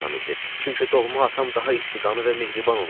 Çünki doğma atam daha isti qanlı və mehriban olardı.